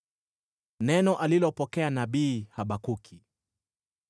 Neno alilopokea nabii Habakuki.